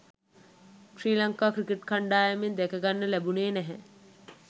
ශ්‍රී Lanka cricket කණ්ඩායමේ දැකගන්න ලැබුණේ නැහැ.